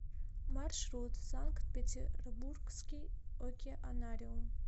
маршрут санкт петербургский океанариум